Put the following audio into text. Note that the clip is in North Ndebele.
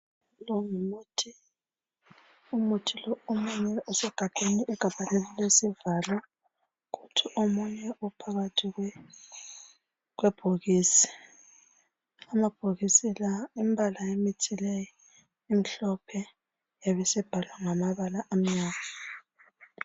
Lowu ngumuthi, umuthi lowu omunye usegabheni, igabha lelo lilesivalo kuthi omunye uphakathi kwebhokisi. Amabhokisi lawo imibala yayo imhlophe yayisibhalwa ngamabala amnyama